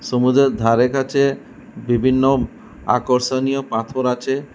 সমুদ্রের ধারে কাছে বিভিন্ন আর্কষণীয় পাথর আছে।